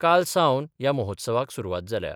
काल सावन ह्या महोत्सवाक सुरवात जाल्या.